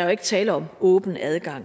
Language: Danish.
er jo ikke tale om åben adgang